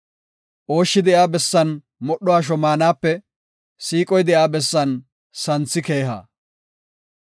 Ooshshi de7iya bessan modho asho maanape siiqoy de7iya bessan santhi keeha.